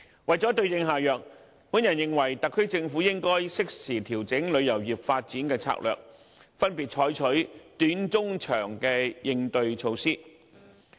為了對症下藥，我認為特區政府應該適時調整旅遊業發展的策略，分別採取短、中、長期的應對措施。